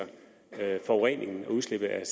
øget forurening og